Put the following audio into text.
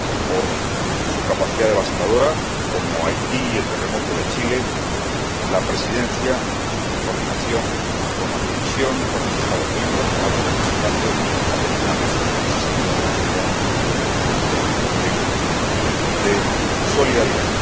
por su capacidad devastadora, como los terremotos de Haití y de Chile, la Presidencia, en coordinación con la Comisión, con los Estados miembros y con la Alta Representante, ha tenido una presencia significativa en el esfuerzo de cooperación y de solidaridad.